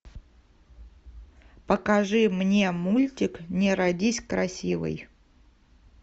покажи мне мультик не родись красивой